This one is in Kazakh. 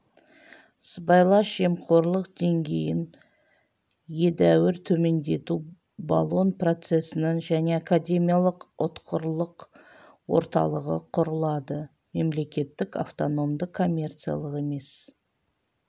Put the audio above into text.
сыбайлас жемқорлық деңгейін едәуір төмендету болон процесінің және академиялық ұтқырлық орталығы құрылады мемлекеттік автономды коммерциялық емес